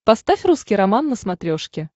поставь русский роман на смотрешке